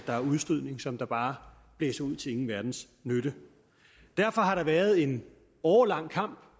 der er udstødning som bare blæser ud til ingen verdens nytte derfor har der været en årelang kamp